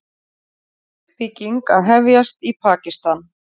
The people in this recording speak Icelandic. Uppbygging að hefjast í Pakistan